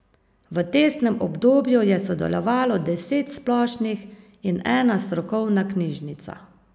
V testnem obdobju je sodelovalo deset splošnih in ena strokovna knjižnica.